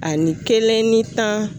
Ani kelen ni tan.